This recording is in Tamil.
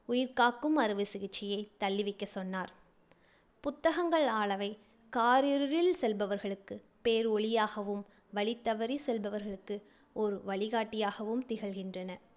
உயிர் காக்கும் அறுவைச் சிகிச்சையைத் தள்ளி வைக்கச் சொன்னார் புத்தகங்களானவை காரிருளில் செல்பவர்களுக்கு பேர் ஒளியாகவும்⸴ வழி தவறிச் செல்பவர்களுக்கு ஒரு வழிகாட்டியாகவும் திகழ்கின்றன.